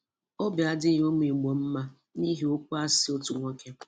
Óbì adịghị ụ́mụ̀ Ìgbò ḿmā n'ihi ókwú asị otu nwoke